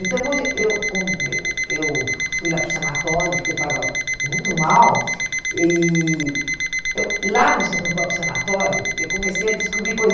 Então, quando eu quando eu eu fui lá para o sanatório, porque eu estava muito mal, e eu lá no sa no próprio sanatório, eu comecei a descobrir